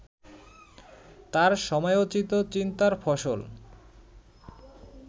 তাঁর সময়োচিত চিন্তার ফসল